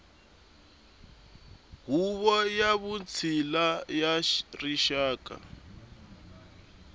huvo ya vutshila ya rixaka